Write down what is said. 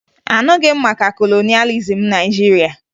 Aṅụghị m maka kolonịalizim Naịjirịa